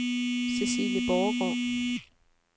Cæcilie Borregaard